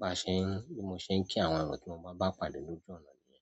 Bá ṣe ún, bí mo ún kí àwọn èèyàn tí mo bá bá pàdé lójú ọ̀nà nìyí.